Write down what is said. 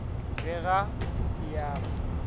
re ga se a mo